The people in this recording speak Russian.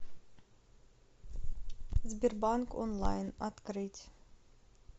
сбербанк онлайн открыть